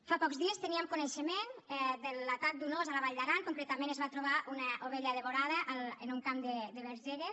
fa pocs dies teníem coneixement de l’atac d’un ós a la vall d’aran concretament es va trobar una ovella devorada en un camp de bagergue